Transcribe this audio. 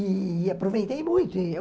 E aproveitei muito e eu